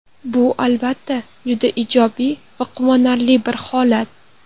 Bu, albatta, juda ijobiy va quvonarli bir holat.